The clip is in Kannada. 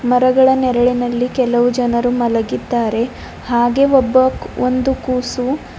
ಮರಗಳ ನೆರಳಿನಲ್ಲಿ ಕೆಲವು ಜನರು ಮಲಗಿದ್ದಾರೆ ಹಾಗೆ ಒಬ್ಬ ಒಂದು ಕೂಸು--